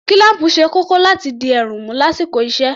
Kílám̀pù ṣe kókó láti dí èérún mú lásìkò iṣẹ́